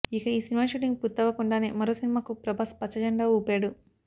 ఇక ఈ cinema shooting పూర్తవ్వకుండానే మరో సినిమాకు ప్రభాస్ పచ్చ జెండా ఊపాడు